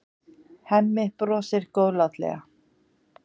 Hemmi brosir góðlátlega.